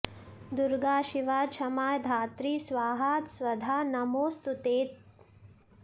दुर्गा शिवा क्षमा धात्री स्वाहा स्वधा नमोऽस्तु ते